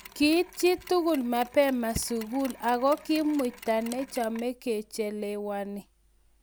Kiit chitkul mapema sikul akot Kimutai nechame kochelewani